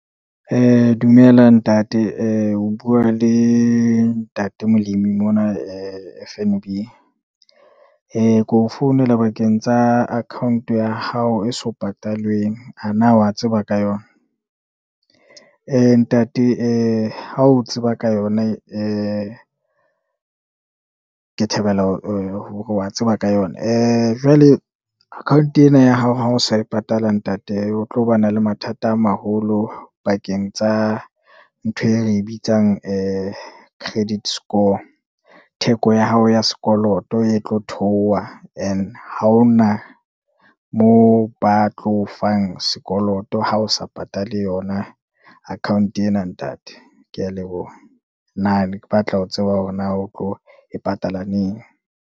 Dumela ntate o bua le ntate Molemi mona F_N_B, keo founela bakeng tsa account ya hao e so patalweng a na wa tseba ka yona? Ntate, ha o tseba ka yona ke thabela hore wa tseba ka yona. Jwale account ena ya hao ha o sa e patala ntate o tlo ba na le mathata a maholo pakeng tsa ntho e re bitsang credit score. Theko ya hao ya sekoloto e tlo theoha and ha ho na moo ba tlo fang sekoloto ha o sa patale yona account ena, ntate kea leboha. Nna ne ke batla ho tseba hore na o tlo e patala neng.